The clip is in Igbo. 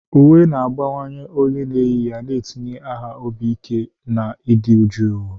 Uwe na-agbanwe onye na-eyi ya, na-etinye ha obi ike na ịdị jụụ.